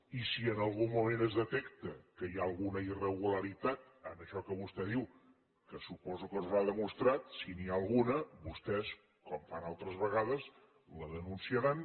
i si en algun moment es detecta que hi ha alguna irregularitat en això que vostè diu que suposo que no s’ha demostrat si n’hi ha alguna vostès com fan altres vegades la denunciaran